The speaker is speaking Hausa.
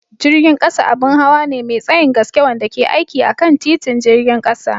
Jirgin ƙasa abin hawa ne mai tsayin gaske wanda ke aiki akan titin jirgin ƙasa.